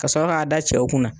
Ka sɔrɔ k'a da cɛw kunna